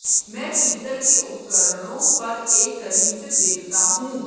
मैं पीतल के उपकरणों पर एक करीब से देखता हूं